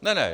Ne ne.